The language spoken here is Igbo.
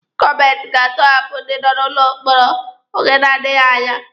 Gọọmenti ga-atọhapụ ndị nọ n'ụlọ mkpọrọ oge na-adịghi anya.